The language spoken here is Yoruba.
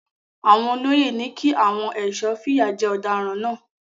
Àwọn olóyè ni kí àwọn ẹ̀sọ́ fìyà jẹ ọ̀daràn náà.